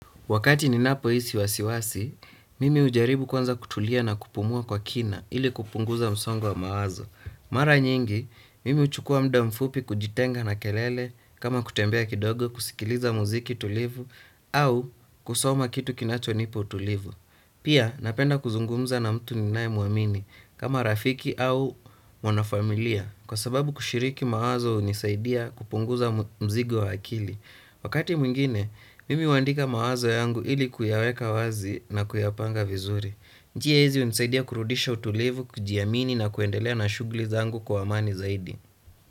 Wakati ninapohisi wasiwasi, mimi hujaribu kwanza kutulia na kupumua kwa kina ili kupunguza msongo wa mawazo. Mara nyingi, mimi huchukua muda mfupi kujitenga na kelele kama kutembea kidogo kusikiliza muziki tulivu au kusoma kitu kinachonipa utulivu. Pia napenda kuzungumza na mtu ninaye muamini kama rafiki au mwana familia kwa sababu kushiriki mawazo hunisaidia kupunguza mzigo wa akili. Wakati mwingine, mimi huandika mawazo yangu ili kuyaweka wazi na kuyapanga vizuri. Njia hizi hunisaidia kurudisha utulivu, kujiamini na kuendelea na shughuli zangu kwa amani zaidi.